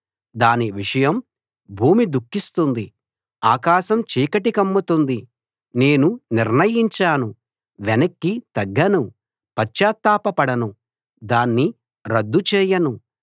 దాని విషయం భూమి దుఃఖిస్తుంది ఆకాశం చీకటి కమ్ముతుంది నేను నిర్ణయించాను వెనక్కి తగ్గను పశ్చాత్తాప పడను దాన్ని రద్దు చేయను